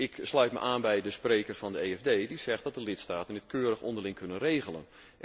Ik sluit me aan bij de spreker van de EFD die zegt dat de lidstaten dit keurig onderling kunnen regelen.